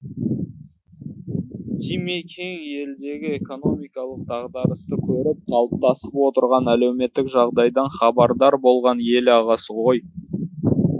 димекең елдегі экономикалық дағдарысты көріп қалыптасып отырған әлеуметтік жағдайдан хабардар болған елағасы ғой